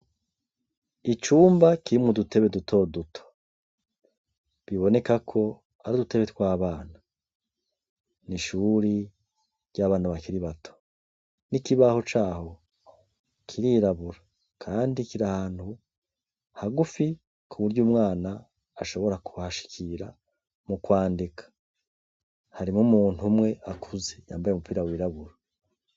Icumba kirimwa dutebe dutoduto, bibonekako ari dutebe twabana, ni ishuri ry'abana bakiri bato n'ikibaho caho kirirabura, kandi kira hantu hagufi kuburyo’ umwana ashobora kubahashikiraa mukwandika harimo umuntu umwe akuze yambaye umupira wirabura.